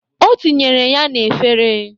O tinyere ya n'efere.